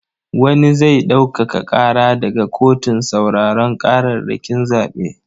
Wani zai ɗaukaka ƙara daga kotun sauraron ƙararrakin zaɓe.